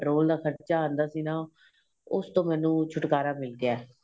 petrol ਦਾ ਖਰਚਾ ਆਂਦਾ ਸੀ ਨਾ ਉਸ ਤੋ ਮੈਨੂੰ ਛੁਟਕਾਰਾ ਮਿਲ ਗਿਆ ਏ